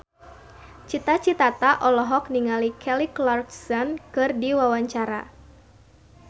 Cita Citata olohok ningali Kelly Clarkson keur diwawancara